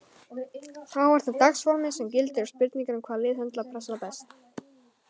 Þá er það dagsformið sem gildir og spurning um hvaða lið höndlar pressuna best.